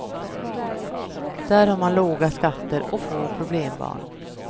Där har man låga skatter och få problembarn.